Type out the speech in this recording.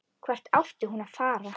Hvert átti hún að fara?